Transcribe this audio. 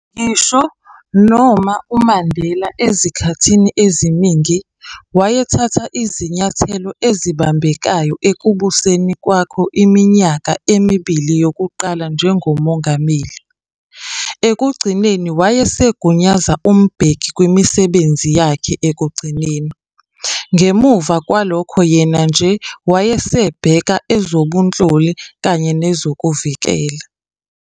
Ngisho noma uMandela ezikhathini eziningi, wayethatha izinyathelo ezibambekayo ekubuseni kwakho eminyakeni emibili yokuqala njengoMongameli, ekugcineni wayesegunyaza uMbeki kwimisebenzi yakhe ekugcineni, ngemuva kwalokho, yena nje wayesebheka ezobunhloli kanye nezokuvikeleka.